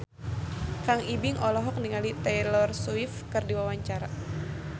Kang Ibing olohok ningali Taylor Swift keur diwawancara